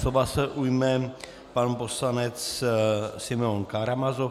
Slova se ujme pan poslanec Simeon Karamazov.